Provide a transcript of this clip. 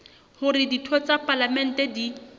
hore ditho tsa palamente di